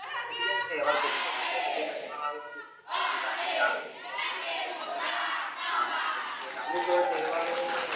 પછી કે ને તહેવાર ખોટો બગડી જાય પછી મહેમાનો આવ્યા હોય તો કે ખોટું લાગે કે આ શું છે કે આતો લાદય છે આમ છે ને તેમ છે અમુક તહેવારો